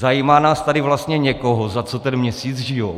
Zajímá nás tady vlastně někoho, za co ten měsíc žijí?